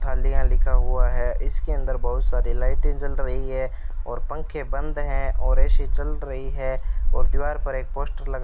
थालियां लिखा हुआ है इसके अंदर बहुत सारी लाइटें जल रही है और पंखे बंद हैं और ए_सी चल रही है और दीवार पर एक पोस्टर लगा --